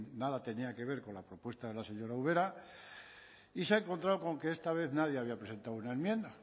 nada tenía que ver con la propuesta de la señora ubera y se ha encontrado con que esta vez nadie había presentado una enmienda